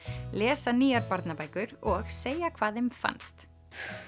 lesa nýjar barnabækur og segja hvað þeim fannst